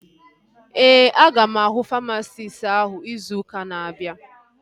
Ee, aga m ahụ famasisti áhụ̀ izu ụka na-abịa